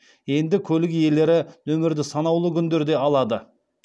енді көлік иелері нөмірді санаулы күндерде алады